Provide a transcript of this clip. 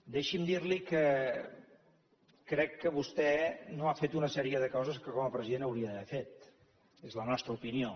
deixi’m dir li que crec que vostè no ha fet una sèrie de coses que com a president hauria d’haver fet és la nostra opinió